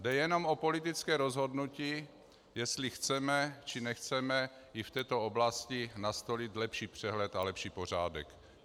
Jde jenom o politické rozhodnutí, jestli chceme, či nechceme i v této oblasti nastolit lepší přehled a lepší pořádek.